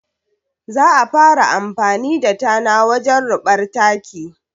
Za a fara amfani da tana wajen ruɓar da taki